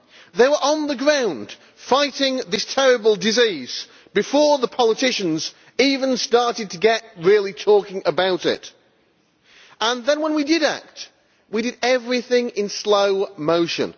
They were on the ground fighting this terrible disease before the politicians even started really talking about it. Then when we did act we did everything in slow motion.